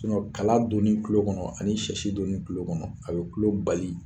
Sinɔn Kala donni kulo kɔnɔ ani sɛsi donni kulo kɔnɔ a bi kulo bali